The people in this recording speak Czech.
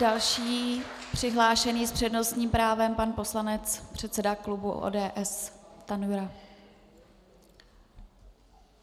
Další přihlášený s přednostním právem, pan poslanec, předseda klubu ODS Stanjura.